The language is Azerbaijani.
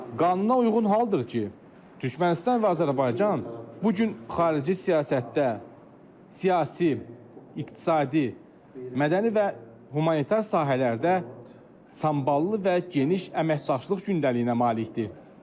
Qanuna uyğun haldır ki, Türkmənistan və Azərbaycan bu gün xarici siyasətdə, siyasi, iqtisadi, mədəni və humanitar sahələrdə samballı və geniş əməkdaşlıq gündəliyinə malikdir.